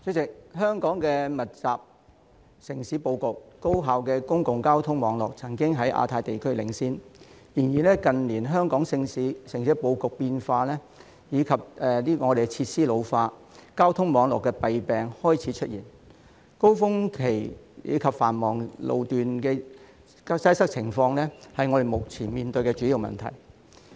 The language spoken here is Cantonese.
主席，香港密集的城市布局及高效的公共交通網絡曾經在亞太區領先，但近年香港城市布局變化及設施老化，交通網絡的弊病開始出現，高峰期及繁忙路段交通擠塞的情況是我們目前面對的主要問題。